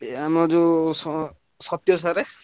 ଏ ଆମ ଯୋଉ ସ ସତ୍ୟ sir ।